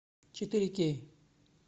четыре кей